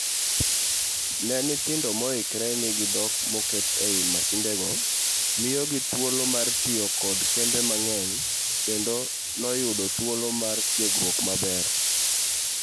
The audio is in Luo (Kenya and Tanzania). Ne nyithindo moikre nigi dhok moket ei masindego, miyogi thuolo mar tiyo kod kembe mang'eny ,kendo noyudo thuolo mar tiegruok maber.